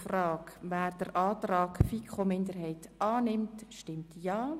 Wer den Antrag der FiKo-Minderheit I annehmen will, stimmt Ja.